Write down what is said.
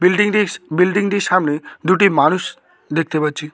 বিল্ডিংটি বিল্ডিংটির সামনে দুটি মানুষ দেখতে পাচ্ছি।